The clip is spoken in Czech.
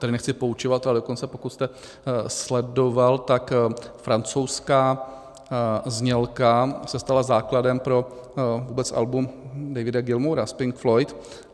Tady nechci poučovat, ale dokonce pokud jste sledoval, tak francouzská znělka se stala základem pro vůbec album Davida Gilmoura z Pink Floyd.